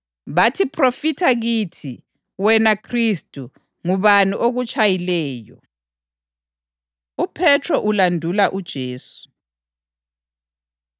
bathi, “Phrofitha kithi, wena Khristu. Ngubani okutshayileyo?” UPhethro Ulandula UJesu